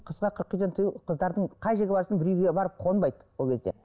қызға қырық үйден тыю қыздардың қай жерге барсын бір үйге барып қонбайды ол кезде